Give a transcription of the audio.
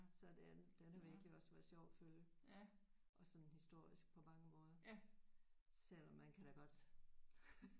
Så den den har virkelig også været sjov at følge også sådan historisk på mange måder selvom man kan da godt